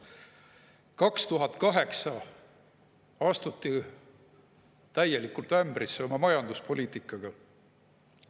Aastal 2008 astuti täielikult ämbrisse oma majanduspoliitikaga.